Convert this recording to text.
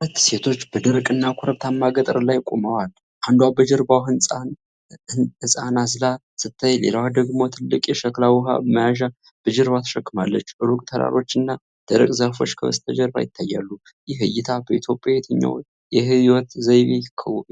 ሁለት ሴቶች በደረቅና ኮረብታማ ገጠር ላይ ቆመዋል። አንዷ በጀርባዋ ሕፃን አዝላ ስትታይ፣ ሌላዋ ደግሞ ትልቅ የሸክላ ውሃ መያዣ በጀርባዋ ተሸክማለች። ሩቅ ተራሮች እና ደረቅ ዛፎች ከበስተጀርባ ይታያሉ። ይህ እይታ በኢትዮጵያ የትኛው የሕይወት ዘይቤ